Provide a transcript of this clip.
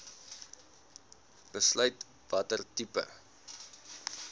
besluit watter tipe